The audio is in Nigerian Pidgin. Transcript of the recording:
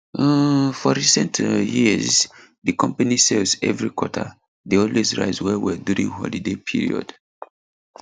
um for recent um years di company sales every quarter dey always rise well well during holiday period